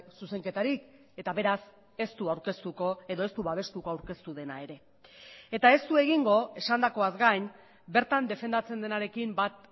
zuzenketarik eta beraz ez du aurkeztuko edo ez du babestuko aurkeztu dena ere eta ez du egingo esandakoaz gain bertan defendatzen denarekin bat